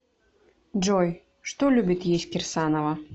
джой что любит есть кирсанова